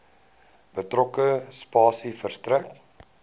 betrokke spasie verstrek